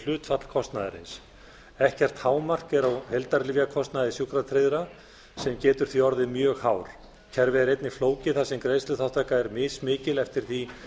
hlutfall kostnaðarins ekkert hámark er á heildarlyfjakostnaði sjúkratryggðra sem getur því orðið mjög hár kerfið er einnig flókið þar sem greiðsluþátttaka er mismikil eftir því